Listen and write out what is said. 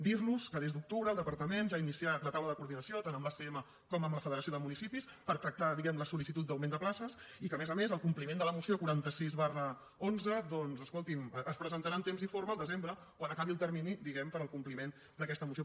dir los que des d’octubre el departament ja ha iniciat la taula de coordinació tant amb l’acm com amb la federació de municipis per tractar diguem ne la sol·licitud d’augment de places i que a més a més el compliment de la moció quaranta sis xi doncs escolti’m es presentarà en temps i forma al desembre quan acabi el termini diguem ne per al compliment d’aquesta moció